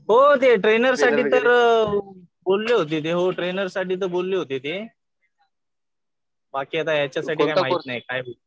हो ते ट्रेनरसाठी तर बोलले होते. हो ट्रेनरसाठी तर बोलले होते ते. बाकी आता याच्यासाठी माहित नाही.